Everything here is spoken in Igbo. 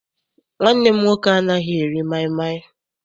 Nwanne m nwoke anaghị eri maịmaị.